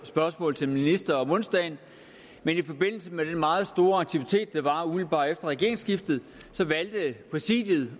spørgsmål til en minister om onsdagen men i forbindelse med den meget store aktivitet der var umiddelbart efter regeringsskiftet valgte præsidiet